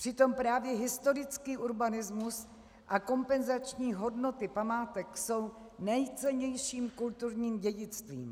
Přitom právě historický urbanismus a kompenzační hodnoty památek jsou nejcennějším kulturním dědictvím.